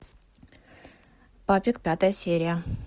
папик пятая серия